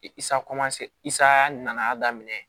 nana daminɛ